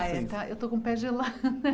Eu estou com o pé gelado.